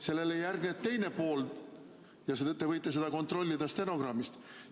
Sellele järgneb teine pool, te võite seda kontrollida stenogrammist.